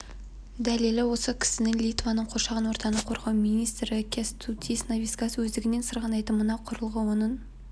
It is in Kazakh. дәлелі осы кісі литваның қоршаған ортаны қорғау министрі кястутис навицкас өздігінен сырғанайтын мына құрылғы оның